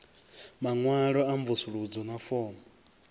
maṅwalo a mvusuludzo na fomo